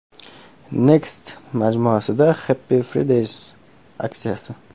Next majmuasida Happy Fridays aksiyasi.